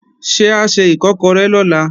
Ṣé a se Ìkọ́kọrẹ́ lọ̀la?